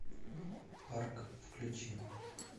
парк включи